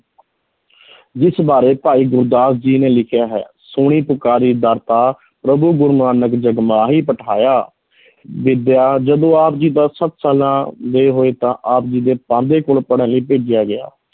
ਜਿਸ ਬਾਰੇ ਭਾਈ ਗੁਰਦਾਸ ਜੀ ਨੇ ਲਿਖਿਆ ਹੈ, ਸੁਣੀ ਪੁਕਾਰਿ ਦਾਤਾ ਪ੍ਰਭੁ ਗੁਰੂ ਨਾਨਕ ਜਗ ਮਾਹਿ ਪਠਾਇਆ ਵਿੱਦਿਆ, ਜਦੋਂ ਆਪ ਜੀ ਸਾਲਾਂ ਦੇ ਹੋਏ ਤਾਂ ਆਪ ਜੀ ਦੇ ਪਾਂਧੇ ਕੋਲ ਪੜ੍ਹਨ ਲਈ ਭੇਜਿਆ ਗਿਆ।